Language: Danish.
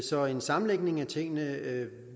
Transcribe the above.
så en sammenlægning af tingene